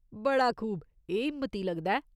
बड़ा खूब ! एह् हिम्मती लगदा ऐ।